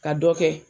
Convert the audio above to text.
Ka dɔ kɛ